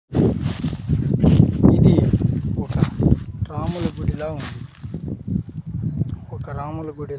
ఇది ఒక రాములు గుడిలా ఉంది ఒక రాముల గుడి--